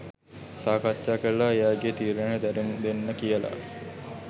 සාකච්ඡා කරලා ඒ අයගේ තීරණය දැනුම් දෙන්න කියල.